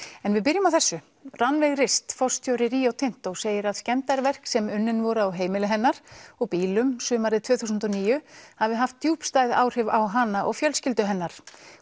en við byrjum á þessu Rannveig rist forstjóri Rio Tinto segir að skemmdarverk sem unnin voru á heimili hennar og bílum sumarið tvö þúsund og níu hafi haft djúpstæð áhrif á hana og fjölskyldu hennar